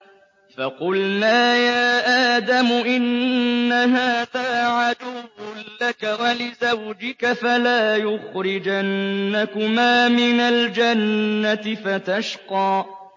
فَقُلْنَا يَا آدَمُ إِنَّ هَٰذَا عَدُوٌّ لَّكَ وَلِزَوْجِكَ فَلَا يُخْرِجَنَّكُمَا مِنَ الْجَنَّةِ فَتَشْقَىٰ